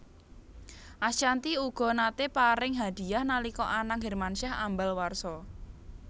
Ashanty uga naté paring hadiyah nalika Anang Hermansyah ambal warsa